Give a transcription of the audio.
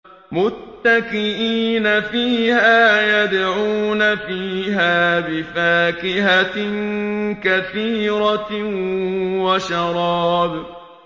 مُتَّكِئِينَ فِيهَا يَدْعُونَ فِيهَا بِفَاكِهَةٍ كَثِيرَةٍ وَشَرَابٍ